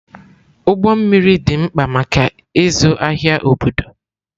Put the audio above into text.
Ụgbọ mmiri dị mkpa maka ịzụ ahịa obodo.